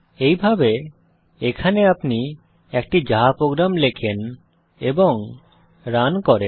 এইভাবে এখানে আপনি একটি জাভা প্রোগ্রাম লেখেন এবং রান করেন